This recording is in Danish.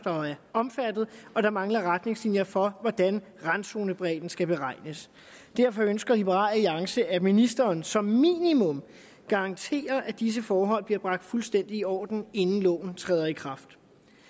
omfattet og der mangler retningslinjer for hvordan randzonebredden skal beregnes derfor ønsker liberal alliance at ministeren som minimum garanterer at disse forhold bliver bragt fuldstændig i orden inden loven træder i kraft